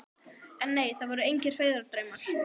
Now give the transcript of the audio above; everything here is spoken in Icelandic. En nei, það voru engir feigðardraumar.